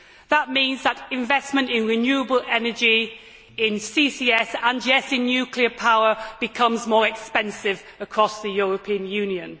That means that investment in renewable energy, CCS and indeed nuclear power becomes more expensive across the European Union.